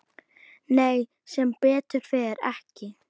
Nei, sem betur fer ekki.